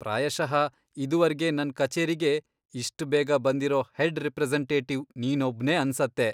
ಪ್ರಾಯಶಃ ಇದುವರ್ಗೆ ನನ್ ಕಚೇರಿಗೆ ಇಷ್ಟ್ ಬೇಗ ಬಂದಿರೋ ಹೆಡ್ ರೆಪ್ರೆಸೆಂಟೇಟಿವ್ ನೀನೊಬ್ನೇ ಅನ್ಸತ್ತೆ.